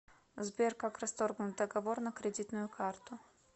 сбер как расторгнуть договор на кредитную карту